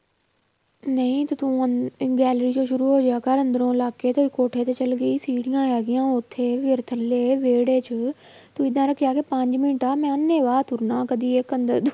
ਨਹੀਂ ਤੇ ਤੂੰ ਚੋਂ ਸ਼ੁਰੂ ਹੋ ਜਾਇਆ ਕਰ ਅੰਦਰ ਲੱਗ ਕੇ ਤੇ ਕੋਠੇ ਤੇ ਚਲੀ ਗਈ ਸੀੜੀਆਂ ਹੈਗੀਆਂ ਉੱਥੇ ਫਿਰ ਥੱਲੇ ਵਿਹੜੇ 'ਚ ਤੂੰ ਏਦਾਂ ਰੱਖਿਆ ਕਿ ਪੰਜ ਮਿੰਟ ਆ ਮੈਂ ਅੰਨੇਵਾਹ ਤੁਰਨਾ ਕਦੇ ਇੱਕ ਅੰਦਰ